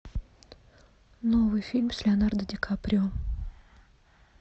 новый фильм с леонардо ди каприо